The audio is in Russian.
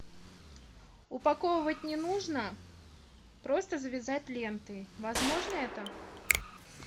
упаковывать не нужно просто завязать лентой возможно это